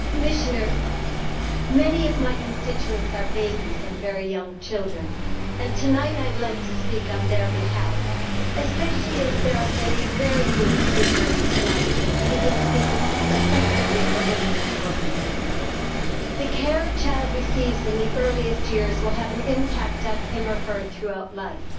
Commissioner, many of my constituents are babies and very young children, and tonight I would like to speak on their behalf, especially as there are many very good speakers tonight who can speak effectively for women in the workplace. The care a child receives in the earliest years will have an impact on him or her throughout life.